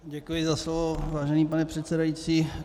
Děkuji za slovo, vážený pane předsedající.